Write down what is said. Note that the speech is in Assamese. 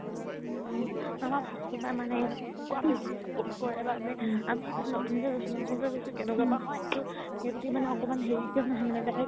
আমাৰ ভাশ্কাৰ দাই মানে এনেকুৱা বেচি support কৰে আমি সেই ফালে নতুন কৈ গৈছো কেনেকুৱা হয় সেইবুলি মানে একমাণ হেৰিকেও নহয়